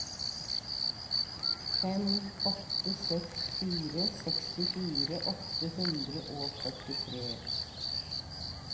fem åtte seks fire sekstifire åtte hundre og førtitre